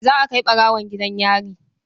Za a kai ɓarwon gidan yari.